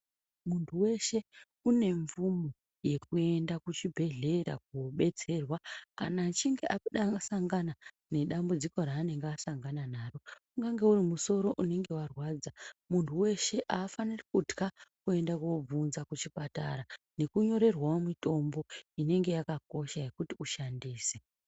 Muntu weshe unemvumo yekuenda kuchibhehlera kunobatsirwa kana achinge asangana nedambudziko raanenge asangana naro ungange uri musoro unenge warwadza .Muntu weshe aafaniri kutka kuenda kobvunza kuchipatara nekunyorerwawo mitombo ineng yakakosha yekuti ushandise.